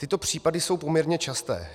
Tyto případy jsou poměrně časté.